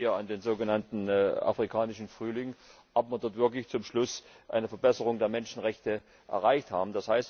Ich erinnere hier an den sogenannten Afrikanischen Frühling Ob wir dort wirklich zum Schluss eine Verbesserung der Menschenrechte erreicht haben?